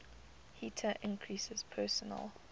heater increases personal